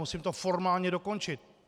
Musím to formálně dokončit.